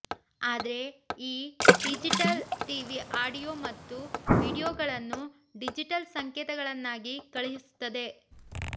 ಆದ್ರೆ ಈ digital TV audio ಮತ್ತು ವೀಡಿಯೋಗಳನ್ನು ಡಿಜಿಟಲ್ ಸಂಕೇತಗಳನ್ನಾಗಿ ಕಳುಹಿಸುತ್ತದೆ